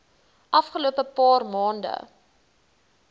afgelope paar maande